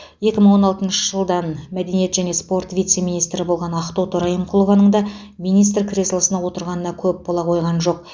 екі мың он алтыншы жылдан мәдениет және спорт вице министрі болған ақтоты райымқұлованың да министр креслосына отырғанына көп бола қойған жоқ